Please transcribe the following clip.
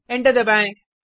enter दबाएँ